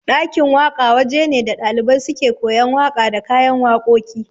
Ɗakin waka waje ne da ɗalibai suke koyan waƙa da kayan waƙoƙi